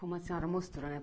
Como a senhora mostrou, né?